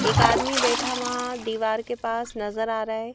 एक आदमी बैठा वहाँ दीवार के पास नजर आ रहा है।